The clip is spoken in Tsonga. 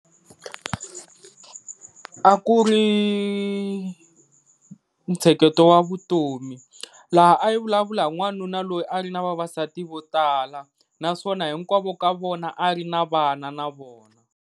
A ku ri ntsheketo wa vutomi laha a yi vulavula hi n'wanuna loyi a ri na vavasati vo tala, naswona hinkwavo ka vona a ri na vana na vona.